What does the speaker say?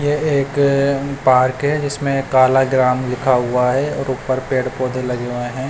ये एक पार्क है जिसमें काला ग्राम लिखा हुआ है और ऊपर पेड़ पौधे लिखे लगे हुए हैं।